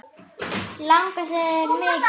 Langaði það mikið.